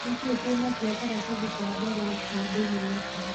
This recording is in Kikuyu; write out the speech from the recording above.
ni kĩĩ twina kio karatathi ka mbere ka daily nation